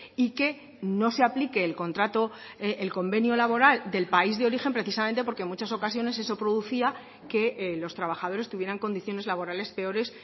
y que no se aplique el contrato el convenio laboral del país de origen precisamente porque en muchas ocasiones eso producía que los trabajadores tuvieran condiciones laborales peores